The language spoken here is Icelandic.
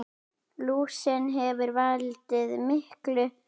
Lúsin hefur valdið miklu tjóni.